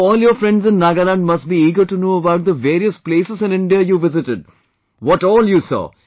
So, all your friends in Nagaland must be eager to know about the various places in India, you visited, what all you saw